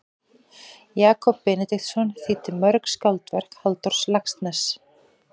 Jakob Benediktsson þýddi mörg skáldverk Halldórs Laxness.